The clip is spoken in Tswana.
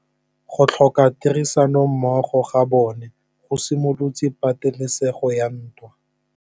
Go tlhoka tirsanommogo ga bone go simolotse patêlêsêgô ya ntwa.